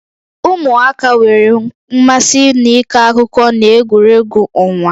Ụmụaka nwere mmasị n'ịkọ akụkọ na egwuregwu ọnwa